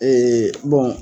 Ee bɔn